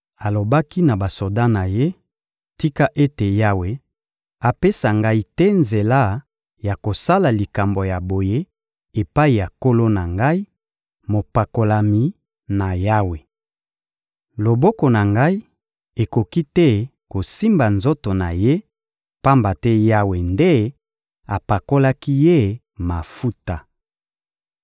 Alobaki na basoda na ye: «Tika ete Yawe apesa ngai te nzela ya kosala likambo ya boye epai ya nkolo na ngai, mopakolami na Yawe! Loboko na ngai ekoki te kosimba nzoto na ye, pamba te Yawe nde apakolaki ye mafuta.»